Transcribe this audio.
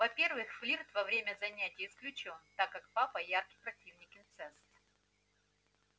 во-первых флирт во время занятий исключён так как папа ярый противник инцеста